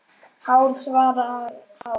Hár svarar þá